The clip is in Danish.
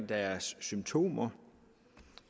deres symptomer